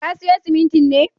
Ka siyo siminti ne?